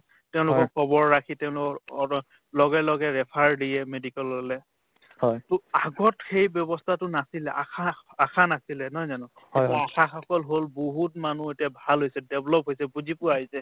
তেওঁলোকক খবৰ ৰাখি তেওঁলোকৰ অৱস লগে লগে refer দিয়ে medical ললে to আগত সেই ব্যৱস্থাতো নাছিলে আশা আশা নাছিলে নহয় জানো এতিয়া আশাসকল হল বহুত মানুহ এতিয়া ভাল হৈছে develop হৈছে বুজি পোৱা হৈছে